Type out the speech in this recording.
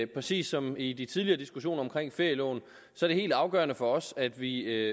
præcis som i de tidligere diskussioner om ferieloven er det helt afgørende for os at vi